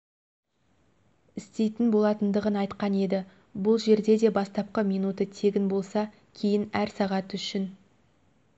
істейтін болатындығын айтқан еді бұл жерде де бастапқы минуты тегін болса кейін әр сағаты үшін